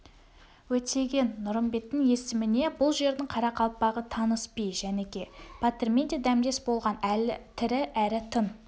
өтеген-нұрымбеттің есіміне бұл жердің қарақалпағы таныс би жәніке батырмен де дәмдес болған әлі тірі әрі тың